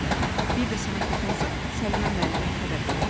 Bir də sənə toxunsa, Səlimə müəlliməyə xəbər verərik.